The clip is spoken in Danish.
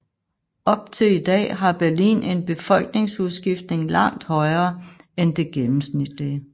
Op til i dag har Berlin en befolkningsudskiftning langt højere end det gennemsnitlige